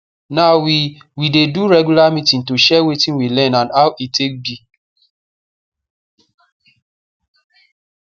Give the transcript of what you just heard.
now we we dey do regular meeting to share wetin we learn and how e take be